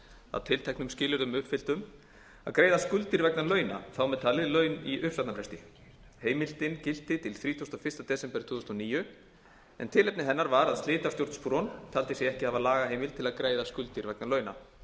að tilteknum skilyrðum uppfylltum að greiða skuldir vegna launa þar með talin laun í uppsagnarfresti heimildin gilti til þrítugasta og fyrsta desember tvö þúsund og níu en tilefni hennar var að slitastjórn spron taldi sig ekki hafa lagaheimild til að greiða skuldir vegna launa